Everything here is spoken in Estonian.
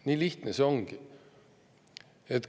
Nii lihtne see ongi.